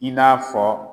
I n'a fɔ